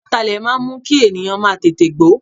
Ataalẹ̀ máa ń mú kí ènìyàn má tètè gbó.